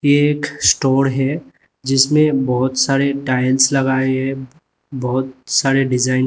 ये एक स्टोर है जिसमें बहोत सारे टाइल्स लगाए हैं बहुत सारे डिजाइन --